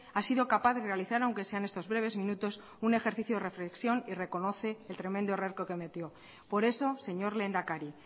ha sido capaz de realizar aunque sea en estos breves minutos un ejercicio de reflexión y reconoce el tremendo error que cometió por eso señor lehendakari